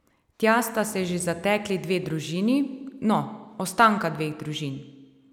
Tja sta se že zatekli dve družini, no, ostanka dveh družin.